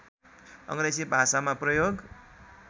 अग्रेजी भाषामा प्रयोग